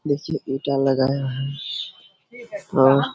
देखिए ईटा लगाया है और--